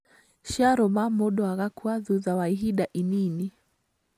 Ciarũma mũndũ agakua thutha wa ihinda inini